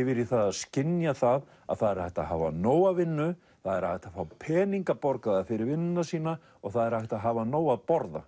yfir í það að skynja það að það er hægt að hafa nóga vinnu það er hægt að fá peninga borgaða fyrir vinnuna sína og það er hægt að hafa nóg að borða